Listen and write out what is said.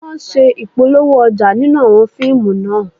Wọ́n ṣe Ìpolówó ọjà nínú àwọn fíìmù náà